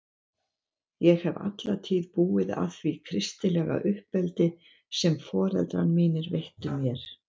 Ég hef alla tíð búið að því kristilega uppeldi sem foreldrar mínir veittu mér.